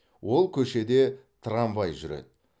ол көшеде трамвай жүреді